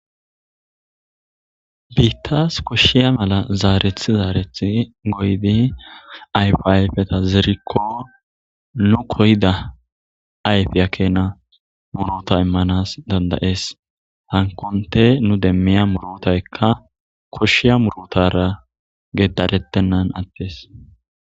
biittas koshshiya mala zaarethi zaareth goydi ayfiayfeta zerikko nu koyida ayfi akena murota immanas dandayees hankonte nu demmiya murotaykka koshshiya murutara gedarettennan attes